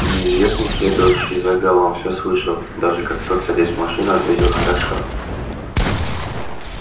неизвестный следовавший за галом всё слышал даже как тот садясь в машину ответил хорошо